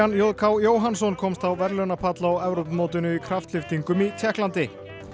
j k Jóhannsson komst á verðlaunapall á Evrópumótinu í kraftlyftingum í Tékklandi